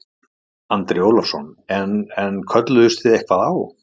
Andri Ólafsson: En, en kölluðust þið eitthvað á?